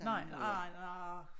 Nej nej nej arh